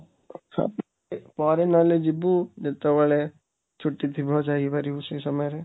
ପରେ ନହେଲେ ଯିବୁ, ଯେତେବେଳେ ଛୁଟି ଥିବ ଯାଇପାରିବୁ ସେ ସମୟରେ